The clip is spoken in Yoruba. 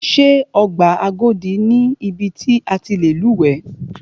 Ṣé ọgbà Agodi ni ibi ti a ti lè lúwẹ̀ẹ́.